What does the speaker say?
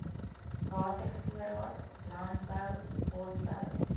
watervoorraad landbou bosbou